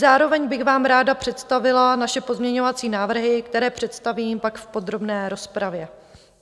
Zároveň bych vám ráda představila naše pozměňovací návrhy, které představím pak v podrobné rozpravě.